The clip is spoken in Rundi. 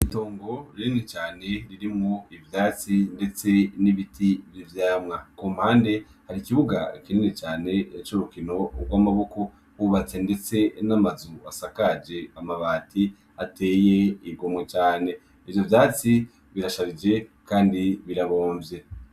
Itongo rinini cane ririmwo ivyatsi, ndetse n'ibiti vy'ivyamwa. Ku mpande, hari ikibuga kinini cane c'urukino rw'amaboko bubatse ndetse n'amazu asakaje amabati ateye igomwe cane. Ivyo vyatsi birasharije kandi birabomvye.